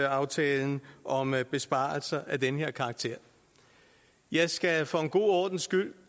aftalen om besparelser af den her karakter jeg skal for en god ordens skyld